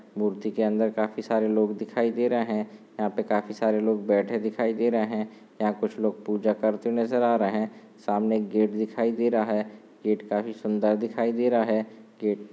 मूर्ति के अंदर काफी सारे लोग दिखाई दे रहे है। यहाँ पे काफी सारे लोग बैठे दिखाई दे रहे है। यहाँ कुछ लोग पूजा करते नजर आ रहे है। सामने एक गेट दिखाई दे रहा है। गेट काफी सुंदर दिखाई दे रहा है। गेट --